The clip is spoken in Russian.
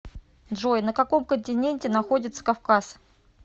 джой на каком континенте находится кавказ